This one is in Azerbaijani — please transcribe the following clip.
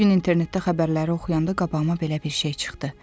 Bu gün internetdə xəbərləri oxuyanda qabağıma belə bir şey çıxdı.